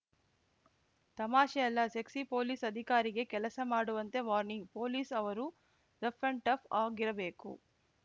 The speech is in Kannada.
ತಮಾಷೆ ಅಲ್ಲ ಸೆಕ್ಸಿ ಪೊಲೀಸ್‌ ಅಧಿಕಾರಿಗೆ ಕೆಲಸ ಮಾಡುವಂತೆ ವಾರ್ನಿಂಗ್‌ ಪೊಲೀಸ್‌ ಅವರು ರಫ್‌ ಆ್ಯಂಡ್‌ ಟಫ್‌ ಆಗಿರಬೇಕು